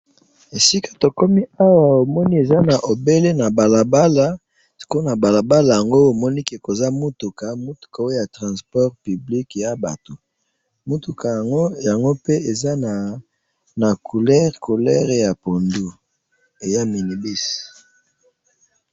esika tokomi awa omoni eza sika na obele ya balabala sikoyo na balabala yango omoni koza mutuka mutuka transport public ya batu mutuka yango ezali na couleur ya vert pundu eza mini bus.